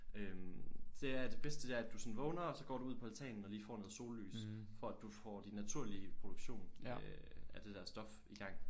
Øh det er at det bedste det er at du sådan vågner og så går du ud på altanen og lige får noget sollys for at du får din naturlige produktion øh af det der stof i gang